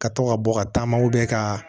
Ka to ka bɔ ka taama ka